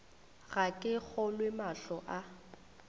ga ke kgolwe mahlo a